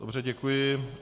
Dobře, děkuji.